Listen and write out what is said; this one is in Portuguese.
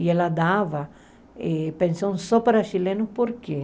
E ela dava pensão só para chilenos, por quê?